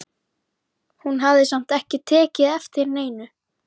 Hún hafði samt ekki tekið eftir neinu.